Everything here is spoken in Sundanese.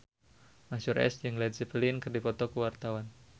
Mansyur S jeung Led Zeppelin keur dipoto ku wartawan